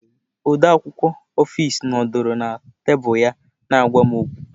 Odeakwụkwọ ọfis nọdụrụ na tebụl ya na-agwa m okwu.